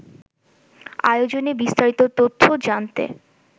আয়োজনে বিস্তারিত তথ্য জানতে